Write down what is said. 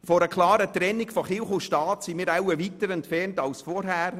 Von einer klaren Trennung zwischen Kirche und Staat sind wir wohl weiter entfernt als zuvor.